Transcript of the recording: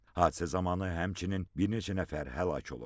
Hadisə zamanı həmçinin bir neçə nəfər həlak olub.